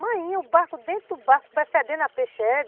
Mainha, o barco dentro do barco vai fedendo a peixe, é